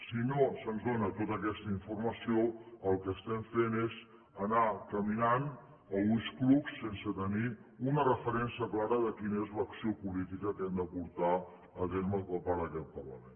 si no se’ns dóna tota aquesta informació el que estem fent és anar caminant a ulls clucs sense tenir una referència clara de quina és l’acció política que hem de portar a terme per part d’aquest parlament